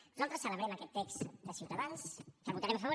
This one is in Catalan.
nosaltres celebrem aquest text de ciutadans que votarem a favor